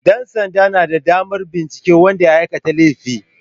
Ɗansanda na da damar binciken wanda ya aikata laifi.